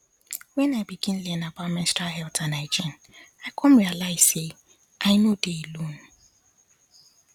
when i begin learn about menstrual health and hygiene i come realize say i no dey alone